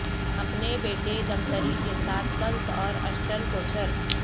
اپنے بیٹے دمتری کے ساتھ کنس اور اشٹن کوچھر